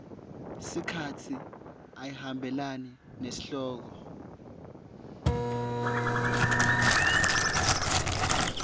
sikhatsi ayihambelani nesihloko